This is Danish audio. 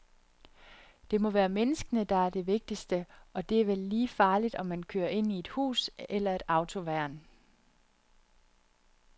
Det må være menneskene, der er det vigtigste, og det er vel lige farligt, om man kører ind i et hus eller et autoværn.